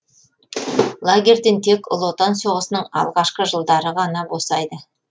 лагерьден тек ұлы отан соғысының алғашқы жылдары ғана босайды